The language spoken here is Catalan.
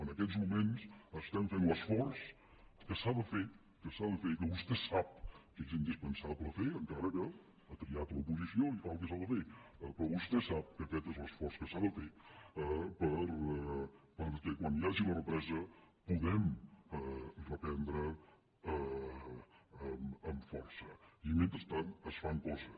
en aquests moments estem fent l’esforç que s’ha de fer que s’ha de fer i que vostè sap que és indispensable fer encara que ha triat l’oposició i fa el que s’ha de fer però vostè sap que aquest és l’esforç que s’ha de fer perquè quan hi hagi la represa puguem reprendre amb força i mentrestant es fan coses